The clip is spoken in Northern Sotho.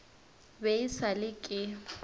be e sa le ke